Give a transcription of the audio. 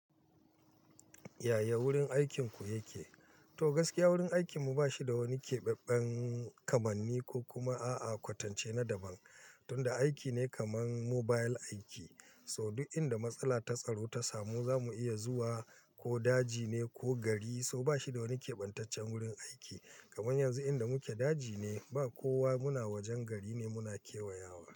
Yaya wurin aikinku yake? To gaskiya wurin aikinmu ba shi da wani keɓaɓɓen kamanni ko kuma a'a kwatance na daban. Tun da aiki ne kaman mobile aiki, so duk inda matsala ta tsaro ta samu za mu iya zuwa ko daji ne ko gari so ba shi da wani keɓantaccen wurin aiki. Kaman yanzu inda muke daji ne ba kowa muna wajen gari ne muna kewayawa.